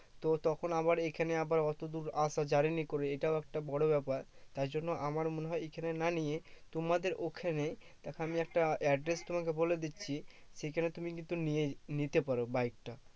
তো তখন আবার এখানে আবার অতদূর আসা journey করে এটাও একটা বড় ব্যাপার। তাই জন্য আমারও মনে হয় এইখানে না নিয়ে, তোমাদের ওখানে দেখো আমি একটা address তোমাকে বলে দিচ্ছি, সেখানে তুমি কিন্তু নিয়ে নিতে পারো বাইক টা।